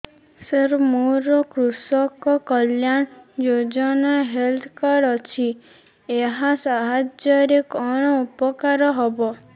ସାର ମୋର କୃଷକ କଲ୍ୟାଣ ଯୋଜନା ହେଲ୍ଥ କାର୍ଡ ଅଛି ଏହା ସାହାଯ୍ୟ ରେ କଣ ଉପକାର ହବ